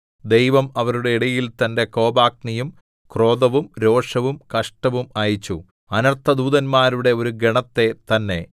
ദൈവം അവരുടെ ഇടയിൽ തന്റെ കോപാഗ്നിയും ക്രോധവും രോഷവും കഷ്ടവും അയച്ചു അനർത്ഥദൂതന്മാരുടെ ഒരു ഗണത്തെ തന്നെ